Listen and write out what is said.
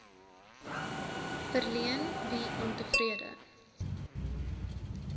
verleen wie ontevrede